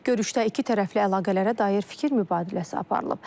Görüşdə ikitərəfli əlaqələrə dair fikir mübadiləsi aparılıb.